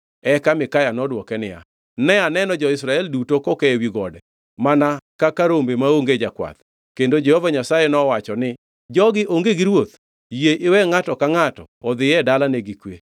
Eka Mikaya nodwoke niya, “Ne aneno jo-Israel duto koke ewi gode mana kaka rombe maonge jakwath, kendo Jehova Nyasaye nowacho ni, ‘Jogi onge gi ruoth. Yie iwe ngʼato ka ngʼato odhi e dalane gi kwe.’ ”